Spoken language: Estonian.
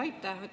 Aitäh!